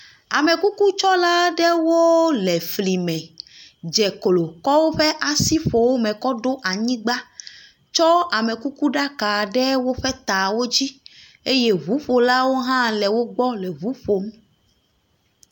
Amekukutsɔla aɖewo le fli me dze klo tsɔ woƒe asi ƒlome ɖo anyigba, tsɔ amekukuɖaka ɖe woƒe tawo dzi eye ŋuƒolawo le wo gbɔ le ŋu ƒom.